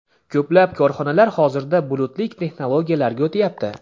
Ko‘plab korxonalar hozirda bulutli texnologiyalarga o‘tyapti.